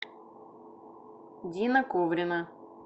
дина коврина